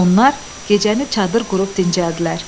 Onlar gecəni çadır qurub dincəldilər.